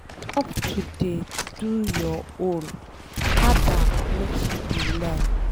Stop to dey do your own, add am make she dey learn.